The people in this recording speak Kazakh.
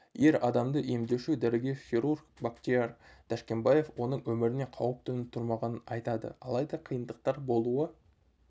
ер адамды емдеуші дәрігер хирург бақтияр тәшкенбаев оның өміріне қауіп төніп тұрмағанын айтады алайда қиындықтар болуы